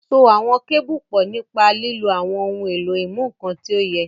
So àwọn kébù pọ̀ nípa lílo àwọn ohun èlò ìmúnǹkan tí ó yẹ.